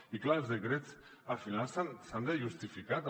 i clar els decrets al final s’han de justificar també